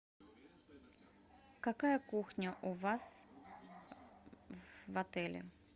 какая кухня у вас в отеле